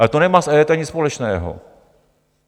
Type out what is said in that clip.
Ale to nemá s EET nic společného.